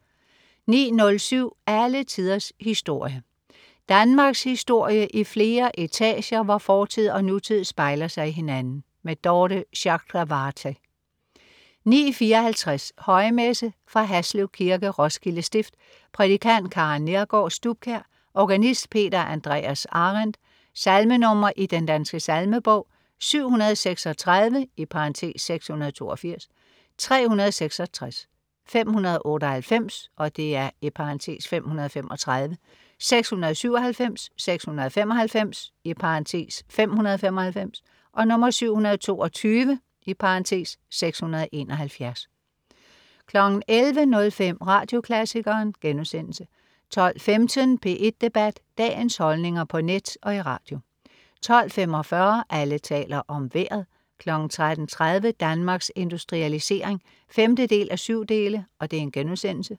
09.07 Alle tiders historie. Danmarkshistorie i flere etager, hvor fortid og nutid spejler sig i hinanden. Dorthe Chakravarty 09.54 Højmesse fra Haslev Kirke, Roskilde stift. Prædikant: Karen Neergaard Stubkjær. Organist: Peter Andreas Arendt. Salmenr. i Den Danske Salmebog: 736 (682), 366, 598 (535), 697, 695 (595), 722 (671) 11.05 Radioklassikeren* 12.15 P1 Debat. Dagens holdninger på net og i radio 12.45 Alle taler om Vejret 13.30 Danmarks Industrialisering 5:7*